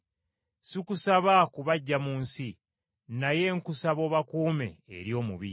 Sikusaba kubaggya mu nsi, naye nkusaba obakuume eri omubi.